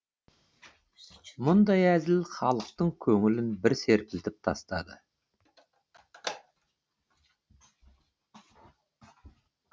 мұндай әзіл халықтың көңілін бір серпілтіп тастады